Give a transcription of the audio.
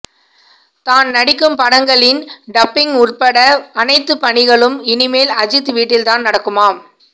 தான் நடிக்கும் படங்களின் டப்பிங் உள்பட அனைத்து பணிகளும் இனிமேல் அஜித் வீட்டில்தான் நடக்குமாம்